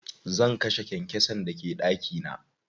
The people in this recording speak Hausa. Zan kashe kyankyasan da ke ɗaki na.